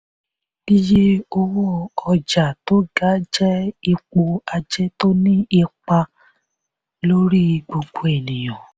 iye owó ọjà tó ga jẹ́ ipò ajé tó ní ipa lórí gbogbo ènìyàn.